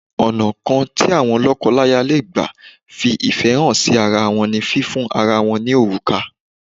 Ọ̀nà kan tí àwọn lọ́kọláya lè gbà fi ìfẹ́ hà sí ara wọ́n ní fífiun ara wọn ní òrùka.